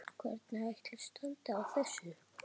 Hvernig ætli standi á þessu?